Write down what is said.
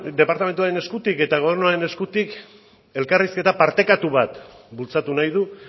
departamentuaren eskutik eta gobernuaren eskutik elkarrizketa partekatu bat bultzatu nahi du